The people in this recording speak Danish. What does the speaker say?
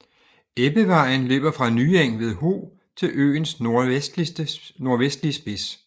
Ebbevejen løber fra Nyeng ved Ho til øens nordvestlige spids